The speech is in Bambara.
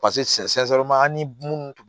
paseke an ni munnu